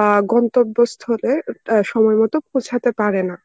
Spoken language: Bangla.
আ গন্তব্যস্থলে অ্যাঁ সময় মত পৌঁছাতে পারেনা.